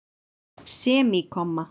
semíkomma